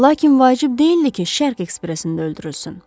Lakin vacib deyildi ki, Şərq ekspresində öldürülsün.